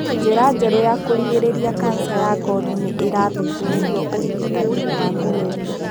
Njĩra njerũ cia kũrigĩrĩria kanca ya ngothi nĩ irathuthurio ũrigitani-inĩ wa kũgerio.